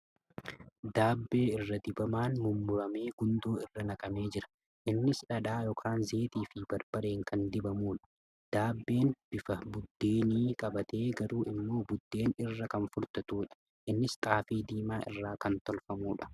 Daabbee irra dibamaan mummuramee gundoo irra naqamee jira . Innis dhadhaa yookan zayitaa fi barbareen kan dibamuudha. Daabbeen bifa buddeenii qabaatee garuu immoo buddeen irra kan furdatuudha. Innis xaafii diimaa irraa kan tolfamuudha.